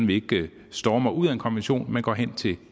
vi ikke stormer ud af en konvention men går hen til